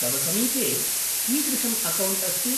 तव समिपे कीदृशम् अकौण्ट् अस्ति?